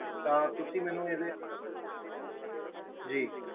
ਤਾਂ ਤੁਸੀਂ ਮੈਨੂੰ ਇਹਦੇ ਜੀ